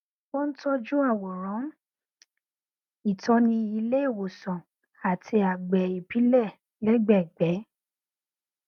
ó n tọjú àwòrán ìtọni ilé ìwòsàn àti agbè ìbílẹ lẹgbẹẹgbẹ